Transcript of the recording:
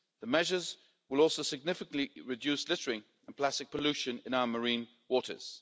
The measures will also significantly reduce littering and plastic pollution in our marine waters.